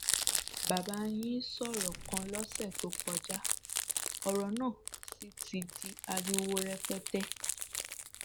bàbá yìí sọrọ kan lọsẹ tó kọjá ọrọ náà sì ti di ariwo rẹpẹtẹ